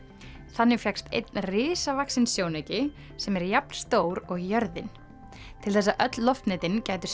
þannig fékkst einn risavaxinn sjónauki sem er jafn stór og jörðin til þess að öll loftnetin gætu